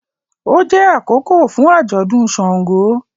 O jẹ akókò fún ajọdún ṣàngó